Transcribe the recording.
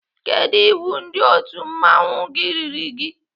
Kedụ iwu ndị otu mmanwụ gị riri gị?